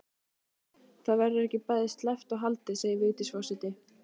Það verður ekki bæði sleppt og haldið segir Vigdís forseti.